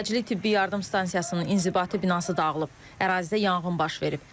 Təcili tibbi yardım stansiyasının inzibati binası dağılıb, ərazidə yanğın baş verib.